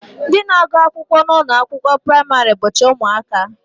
Ndị na-agụ akwụkwọ n'ụlọakwụkwọ praịmarị bụcha ụmụaka